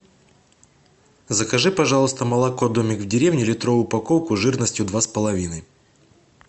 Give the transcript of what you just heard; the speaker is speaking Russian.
закажи пожалуйста молоко домик в деревне литровую упаковку жирностью два с половиной